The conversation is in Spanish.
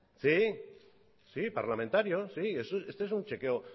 sí sí parlamentarios este es un chequeo